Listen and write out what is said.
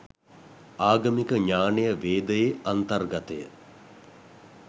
ආගමික ඥානය වේදයේ අන්තර්ගතය